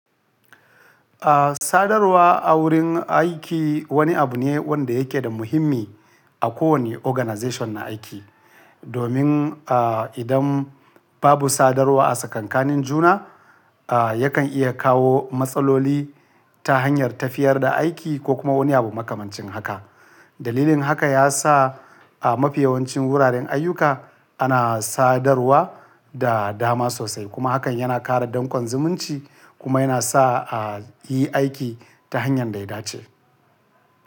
Ah, sadarwa a wurin aiki wani abu ne wanda yake da muhimmi a kowane organization na aiki. Domin, ah, idan babu sadarwa a tsakankanin juna, ah, yakan iya kawo matsaloli ta hanyar tafiyar da aiki ko kuma wani abu makamancin haka. Dalilin haka ya sa a mafiyawancin wuraren ayyuka ana sadarwa da dama sosai. Kuma hakan yana ƙara dankon zumunci kuma yana sa a yi aiki ta hanyar daidace.